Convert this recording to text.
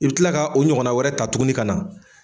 I bi kila ka o ɲɔgɔnna wɛrɛ ta tuguni ka na.